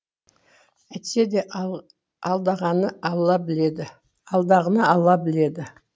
әйтсе де алдағыны алла біледі